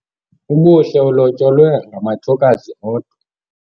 Ubuhle ulotyolwe ngamathokazi odwa.